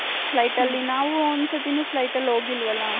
flight ಅಲ್ಲಿ ನಾವು ಒಂದ್ ಸತಿ ನು flight ಅಲ್ಲಿ ಹೊಗಿಲ್ವಲ್ಲ.